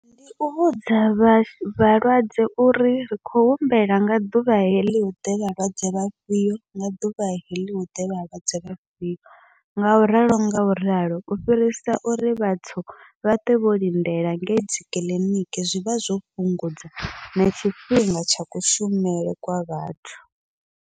Ndi u vhudza vha vhalwadze uri ri khou humbela nga ḓuvha heḽi huḓe vhalwadze vhafhio, nga ḓuvha heḽi huḓe vhalwadze vhafhio ngauralo ngauralo u fhirisa uri vhathu vha ṱwe vho lindela ngei dzikiḽiniki, zwivha zwo fhungudza na tshifhinga tsha kushumele kwa vhathu.